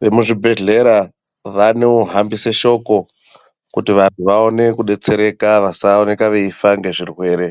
vemuzvibhedhlera vanohambise shoko kuti vanhu vaone kubetsereka vasaoneka veifa ngezvirwere.